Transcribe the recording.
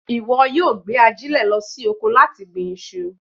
Ìwọ yóò gbé ajílẹ̀ lọ sí oko láti gbin iṣu